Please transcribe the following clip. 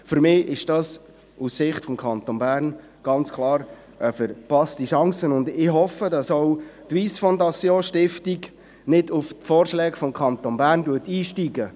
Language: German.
Für mich ist das aus Sicht des Kantons Bern ganz klar eine verpasste Chance, und ich hoffe, auch die Stiftung Wyss Foundation würde nicht auf Vorschläge des Kantons Bern einsteigen.